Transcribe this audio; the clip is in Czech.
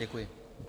Děkuji.